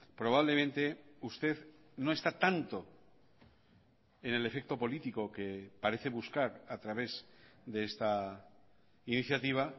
probablemente usted no está tanto en el efecto político que parece buscar a través de esta iniciativa